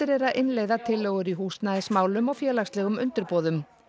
er að innleiða tillögur í húsnæðismálum og félagslegum undirboðum